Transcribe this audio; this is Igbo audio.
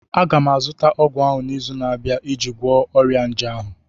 m ga-azụta ọgwụ ahụ n'izu na-abịa iji gwọọ ọrịa nje ahụ